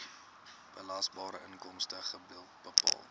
belasbare inkomste bepaal